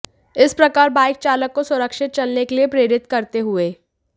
इस प्रकार बाइक चालक को सुरक्षित चलने के लिए प्रेरित करते हुए